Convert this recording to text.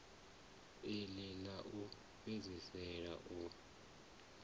iḽi ḽa u fhedzisela u